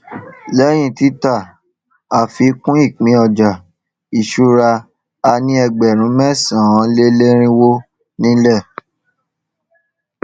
lẹyìn títà àfikún ìpín ọjà ìṣúra a ní ẹgbẹrún mẹsànánléerinwó nílè